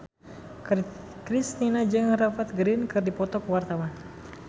Kristina jeung Rupert Grin keur dipoto ku wartawan